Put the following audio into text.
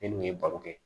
Ne dun ye baro kɛ